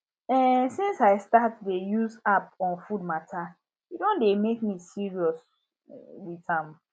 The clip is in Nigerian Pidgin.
um since i start dey use app on food matter e don dey make me serious um with am